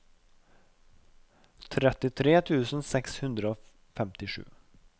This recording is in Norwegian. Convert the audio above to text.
trettitre tusen seks hundre og femtisju